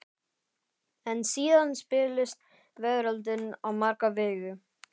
En síðan spillist veröldin á marga vegu.